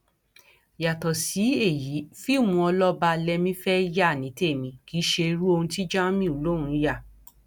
yàtọ sí èyí fíìmù ọlọba lẹmí fẹẹ yá ni tèmi kì í ṣe irú ohun tí jamiu lòún yà